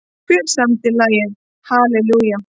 Hver samdi lagið Hallelujah?